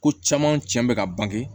Ko caman tiɲɛ bɛ ka ban